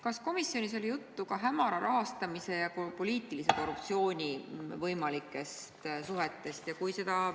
Kas komisjonis oli juttu ka hämara rahastamise ja poliitilise korruptsiooni võimalikest seosest?